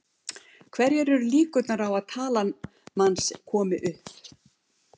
Hverjar eru líkurnar á að talan manns komi upp?